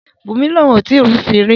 Bunmi ni oun ko tii rufin ri